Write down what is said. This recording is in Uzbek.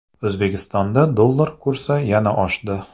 O‘zbekistonda dollar kursi yana oshdi.